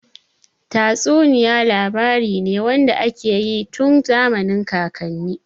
Tatsuniya labari ne wanda ake yi tun zamanin kakanni.